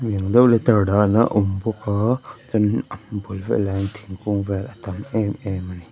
dahna a awm bawk aa chuan in a bul velah hian thingkung vel a tam em em ani.